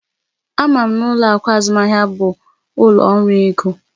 Ama m na ụlọ akụ azụmaahịa bụ ụlọ ọrụ ego